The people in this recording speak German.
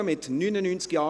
Art. 40 Abs. 6 / Art. 40,